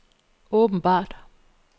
åbenbart